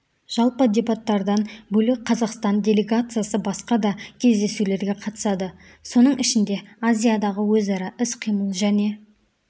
жалпы дебаттардан бөлек қазақстан делегациясы басқа да кездесулерге қатысады соның ішінде азиядағы өзара іс-қимыл және